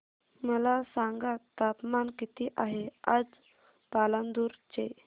मला सांगा तापमान किती आहे आज पालांदूर चे